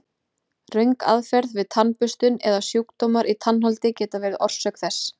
Röng aðferð við tannburstun eða sjúkdómar í tannholdi geta verið orsök þess.